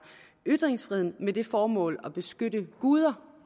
ytringsfriheden med det formål at beskytte guder